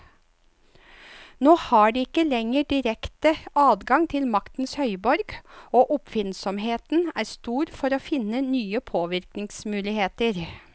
Nå har de ikke lenger direkte adgang til maktens høyborg, og oppfinnsomheten er stor for å finne nye påvirkningsmuligheter.